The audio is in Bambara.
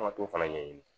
An ka t'o fana ɲɛɲini